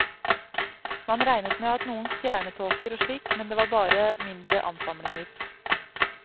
Man regnet med noen stjernetåker og slikt, men det var bare mindre ansamlinger.